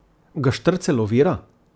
Ga štrcelj ovira?